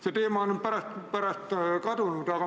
See teema on pärast kadunud.